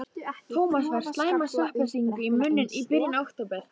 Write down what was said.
Tómas fær slæma sveppasýkingu í munninn í byrjun október.